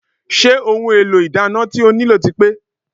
Ṣé àwọn ohun èlò ìdáná tí o nílò ti pé?